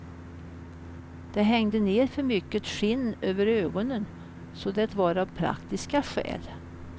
Det hängde ner för mycket skinn över ögonen så det var av praktiska skäl.